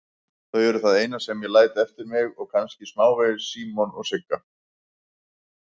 Þau eru það eina sem ég læt eftir mig og kannski smávegis Símon og Sigga.